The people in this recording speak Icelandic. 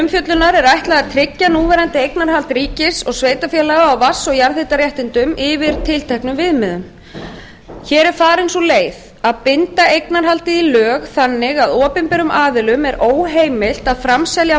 umfjöllunar er ætlað að tryggja núverandi eignarhald ríkis og sveitarfélaga á vatns og jarðhitaréttindum yfir tilteknum viðmiðum farin er sú leið að binda eignarhaldið í lög þannig að opinberum aðilum er óheimilt að framselja